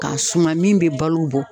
K'a suma min be balo bɔ